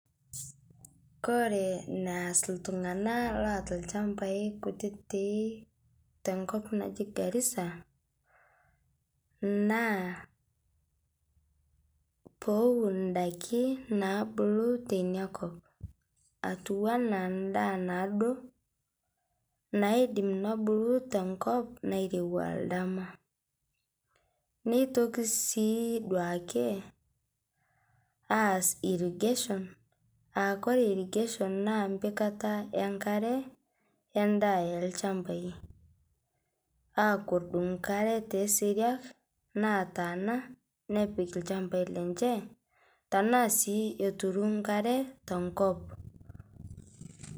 koreee naas iltunganak loataa ilchambai kutitik te nkop naaji Garissa. naaa pewwuun idaiki naabulu tinakop atiu enaa daa naduo naidim naabulu tee nkop nairowua ake aas oldam neitoki sii duake aas irrigation koree irrigation naa empikata enkaree edaaa olchambai netum enkaree tee siruaa nataana naa sii eturu enkare tenkop.